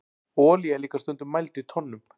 olía er líka stundum mæld í tonnum